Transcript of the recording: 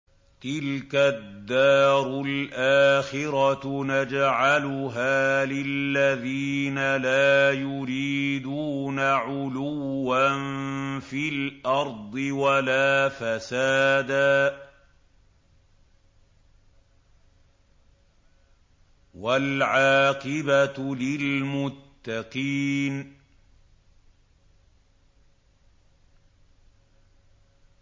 تِلْكَ الدَّارُ الْآخِرَةُ نَجْعَلُهَا لِلَّذِينَ لَا يُرِيدُونَ عُلُوًّا فِي الْأَرْضِ وَلَا فَسَادًا ۚ وَالْعَاقِبَةُ لِلْمُتَّقِينَ